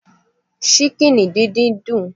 Ṣíkìnì díndín dùn